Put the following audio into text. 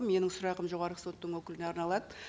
менің сұрағым жоғарғы соттың өкіліне арналады